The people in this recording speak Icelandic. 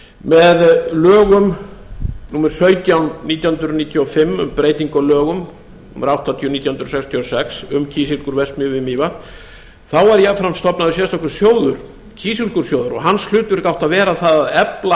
með lögum númer sautján nítján hundruð níutíu og fimm um breytingu á lögum númer áttatíu nítján hundruð sextíu og sex um kísilgúrverksmiðju við mývatn var jafnframt stofnaður sérstakur sjóður kísilgúrsjóður og hans hlutverk átti að vera að efla